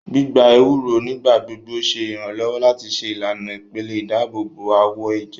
Gbígbà ewúro nigbagbogbo ṣe iranlọwọ láti ṣe ìlànà ìpele ìdáàbòbò awọ ẹjẹ